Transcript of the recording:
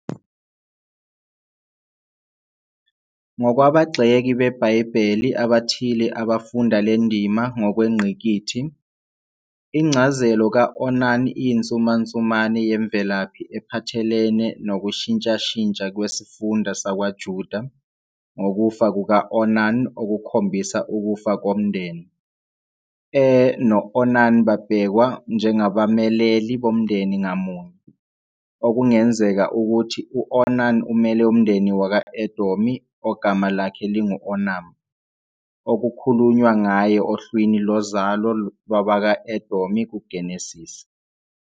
Ngokwabagxeki beBhayibheli abathile abafunda le ndima ngokwengqikithi, incazelo ka-Onan iyinsumansumane yemvelaphi ephathelene nokushintshashintsha kwesifunda sakwaJuda, ngokufa kuka-Onan okukhombisa ukufa komndeni, "Er" no- "Onan" babhekwa njengabameleli bomndeni ngamunye, okungenzeka ukuthi u-Onan umele umndeni wakwa -Edomi ogama lakhe lingu-Onam, okukhulunywa ngaye ohlwini lozalo lwabakwa-Edomi kuGenesise.